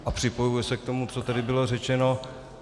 A připojuji se k tomu, co tady bylo řečeno.